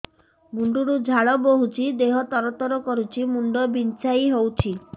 ମୁଣ୍ଡ ରୁ ଝାଳ ବହୁଛି ଦେହ ତର ତର କରୁଛି ମୁଣ୍ଡ ବିଞ୍ଛାଇ ହଉଛି